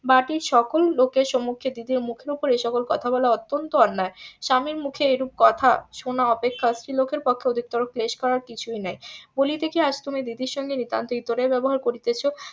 বাটির সকল লোকের সমুখে দিদির মুখের উপরে এসব কথা বলা অত্যন্ত অন্যায় স্বামীর মুখে এরূপ কথা শোনা অপেক্ষা স্ত্রী লোকের পক্ষে অধিকতর ক্লেশ করার কিছুই নাই বলিতে কি আজ তুমি দিদির সঙ্গে নিতান্ত ইতরের ব্যবহার করিতেছ